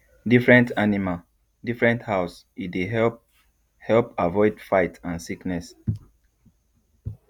different animal different house e dey help help avoid fight and sickness